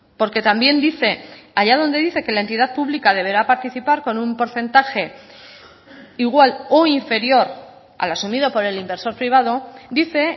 porque también dice allá donde dice que la entidad pública deberá participar con un porcentaje igual o inferior al asumido por el inversor privado dice